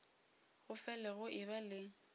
go fele go eba le